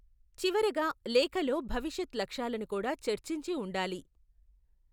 చివరగా, లేఖలో భవిష్యత్ లక్ష్యాలను కూడా చర్చించి ఉండాలి.